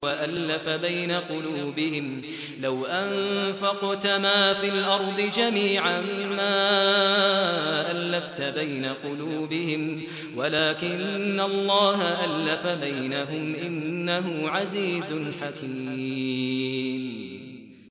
وَأَلَّفَ بَيْنَ قُلُوبِهِمْ ۚ لَوْ أَنفَقْتَ مَا فِي الْأَرْضِ جَمِيعًا مَّا أَلَّفْتَ بَيْنَ قُلُوبِهِمْ وَلَٰكِنَّ اللَّهَ أَلَّفَ بَيْنَهُمْ ۚ إِنَّهُ عَزِيزٌ حَكِيمٌ